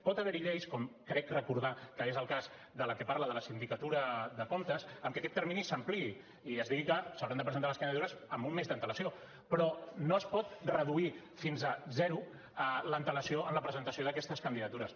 pot haver hi lleis com crec recordar que és el cas de la que parla de la sindicatura de comptes en què aquest termini s’ampliï i es digui que s’hauran de presentar les candidatures amb un mes d’antelació però no es pot reduir fins a zero l’antelació en la presentació d’aquestes candidatures